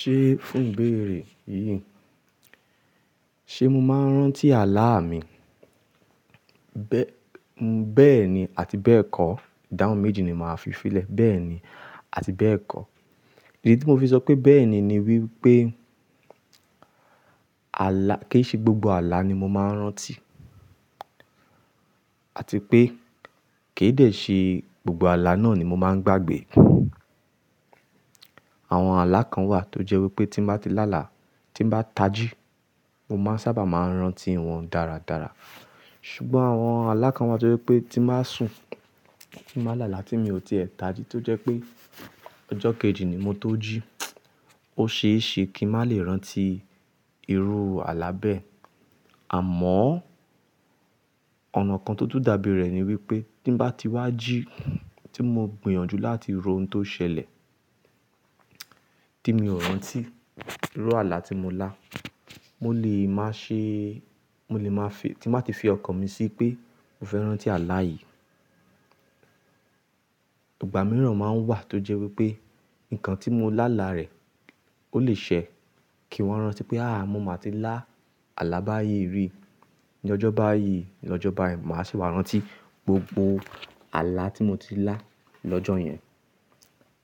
Ṣé fún ìbéèrè yìí, ṣe mo máa ń rántí àlá mi? Bẹ́ẹ̀ni àti bẹ́ẹ̀ kọ́. Ìdáhun méjì ni màá fi filé. Bẹ́ẹ̀ni àti bẹ́ẹ̀ kọ́. Èyí tí mo fi sọ pé bẹ́ẹ̀ni ni wípé àlá, kì í ṣe gbogbo àlá ni mo máa ń rántí. Àti pé kì í dè ṣe gbogbo àlá náà ni mo máa ń gbàgbé. Àwọn àlá kan wà tó jẹ́ wípé tí n bá ti lá là, tí n bá tají, mo máa ń sábà máa ń rántí wọn dáradára. Ṣùgbọ́n àwọn àlá kan wà tó jẹ́ wípé tí n bá sùn, tí mo bá là là tí mi ò ti è tají tó jẹ́ pé ọjọ́ kejì ni mo tóo jí, ó ṣe é ṣe kí n má lè rántí irú àlá bẹ́ẹ̀. Àmọ́, ọ̀nà kan tó tún dàbí rẹ̀ ni wípé tí n bá ti wá jí, tí mo gbìyànjú láti ro ohun tó ṣẹlẹ̀ tí mi ò rántí irú àlá tí mo lá, mo lè máa ṣe, mo lè máa fi, tí n bá ti fi ọkàn mi sí pé mo fẹ́ rántí àlá yìí, ìgbà mìíràn máa ń wà tó jẹ́ wípé nǹkan tí mo lá là rẹ̀ ó lè ṣẹ kí n wa rántí pé àáà, mo máa ti lá àlá báyìí rí ní ọjọ́ báyìí, lọ́jọ́ báyìí, màá sì wá rántí gbogbo àlá tí mo ti lá lọ́jọ́ yẹn.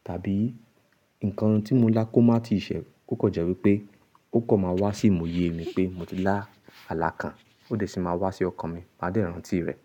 Tàbí nǹkan tí mo lá kó má ti ṣẹ̀, ko kan jẹ́ wípé ó kan máa wá sí ìwòye mi pé mo ti lá àlá kan, ó dè sì máa wá sí ọkàn mi, màá dè rántí rẹ̀.